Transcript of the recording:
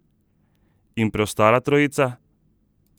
In preostala trojica?